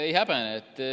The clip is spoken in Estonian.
Ei häbene.